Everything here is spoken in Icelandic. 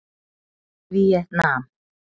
Víetnam